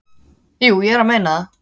"""Jú, ég er að meina það."""